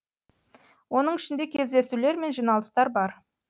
оның ішінде кездесулер мен жиналыстар бар